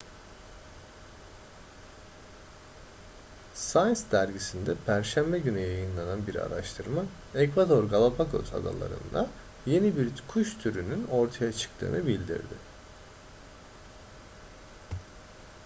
science dergisinde perşembe günü yayınlanan bir araştırma ekvador galapagos adaları'nda yeni bir kuş türünün ortaya çıktığını bildirdi